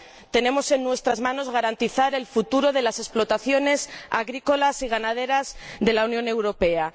Tenemos en nuestras manos garantizar el futuro de las explotaciones agrícolas y ganaderas de la Unión Europea.